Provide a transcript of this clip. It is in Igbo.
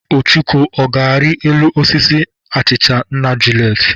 Ọchụko, ọ ga-arị elu osisi achịcha nna Juliet?